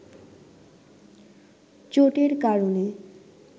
চোটের কারণে